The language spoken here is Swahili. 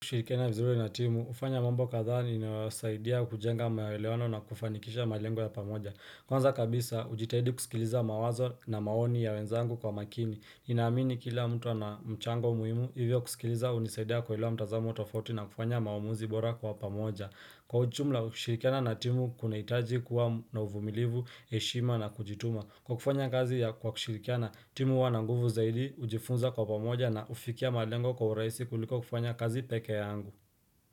Kushirikiana vizuri na timu, hufanya mambo kathaa nimewasaidia kujenga maelewano na kufanikisha malengo ya pamoja. Kwanza kabisa hujitahidi kusikiliza mawazo na maoni ya wenzangu kwa makini ninaamini kila mtu ana mchango muhimu hivyo kusikiliza hunisaidia kuelewa mtazamo tofauti na kufanya maamuzi bora kwa pamoja. Kwa ujumla, kushirikiana na timu kuna hitaji kuwa na uvumilivu, heshima na kujituma. Kwa kufanya kazi ya kwa kushirikiana timu huwa na nguvu zaidi hujifunza kwa pamoja na hufikia malengo kwa urahisi kuliko kufanya kazi peke yaangu.